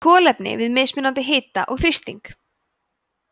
kolefni við mismunandi hita og þrýsting